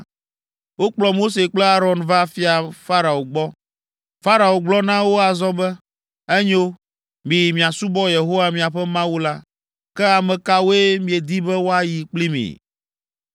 Wokplɔ Mose kple Aron va Fia Farao gbɔ. Farao gblɔ na wo azɔ be, “Enyo, miyi miasubɔ Yehowa, miaƒe Mawu la. Ke ame kawoe miedi be woayi kpli mi?”